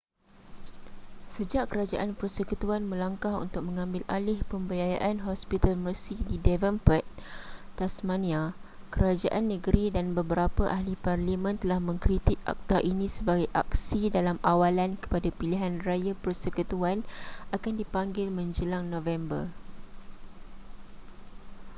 sejak kerajaan persekutuan melangkah untuk mengambil alih pembiayaan hospital mersey di devonport tasmania kerajaan negeri dan beberapa ahli parlimen telah mengkritik akta ini sebagai aksi dalam awalan kepada pilihan raya persekutuan akan dipanggil menjelang november